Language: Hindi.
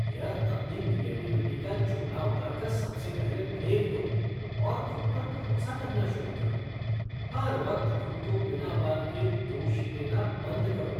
यह अपनी निगेटिविटी का चोला उतार कर सबसे पहले फेंक दो और खुद पर भरोसा करना शुरू करो। हर वक्त खुद को बिना बात के लिए दोष देना बंद करो।